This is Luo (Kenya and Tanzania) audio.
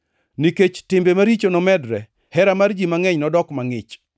Nikech timbe maricho nomedre, hera mar ji mangʼeny nodok mangʼich,